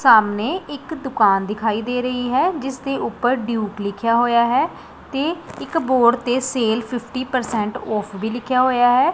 ਸਾਹਮਣੇ ਇੱਕ ਦੁਕਾਨ ਦਿਖਾਈ ਦੇ ਰਹੀ ਹੈ ਜਿੱਸ ਦੇ ਊਪਰ ਟਿਊਬ ਲਿੱਖਿਆ ਹੋਇਆ ਹੈ ਤੇ ਇੱਕ ਬੋਰਡ ਤੇ ਸੇਲ ਫਿਫਟੀ ਪਰਸੈਂਟ ਔਫ ਵੀ ਲਿੱਖਿਆ ਹੋਇਆ ਹੈ।